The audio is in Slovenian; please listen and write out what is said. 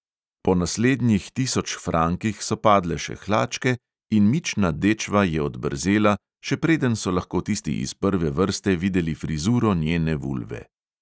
Po naslednjih tisoč frankih so padle še hlačke in mična dečva je odbrzela, še preden so lahko tisti iz prve vrste videli frizuro njene vulve.